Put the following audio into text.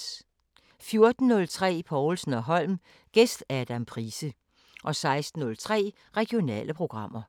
14:03: Povlsen & Holm: Gæst Adam Price 16:03: Regionale programmer